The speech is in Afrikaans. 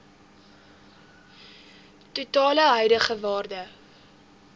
totale huidige waarde